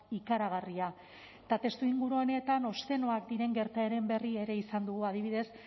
ikaragarria eta testuinguru honetan obszenoak diren gertaeren berri ere izan dugu adibidez